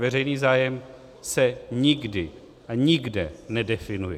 Veřejný zájem se nikdy a nikde nedefinuje.